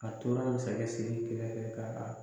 A tora sɛgɛn seli